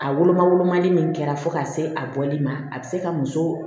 A woloma wolomali min kɛra fo k'a se a bɔli ma a bɛ se ka muso